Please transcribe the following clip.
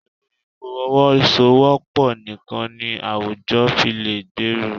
Pẹ̀lú ìfọwọ́sowọ́pọ̀ nìkan ni àwùjọ fi lè gbèrú.